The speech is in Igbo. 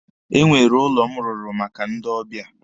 Enwere ụlọ m rụrụ maka ndị ọbịa.